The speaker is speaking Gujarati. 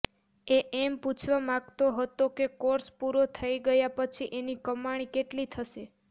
એ એમ પૂછવા માગતો હતો કે કોર્સ પૂરો થઈ ગયા પછી એની કમાણી કેટલી થશે